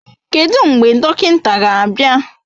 Kedụ mgbe dọkịnta ga-abịa?